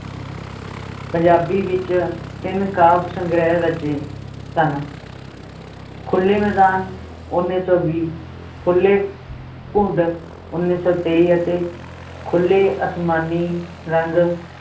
ਪੰਜਾਬੀ ਵਿਚ ਤਿੰਨ ਕਾਵ ਸੰਗ੍ਰਹਿ ਰਚੇ ਸਨ ਖੁੱਲੇ ਮੈਦਾਨ ਉੱਨੀ ਸੌ ਵੀ, ਖੁੱਲੇ ਘੁੰਡ ਉੱਨੀ ਸੌ ਤੇਈ ਅਤੇ ਖੁੱਲੇ ਅਸਮਾਨੀ ਰੰਗ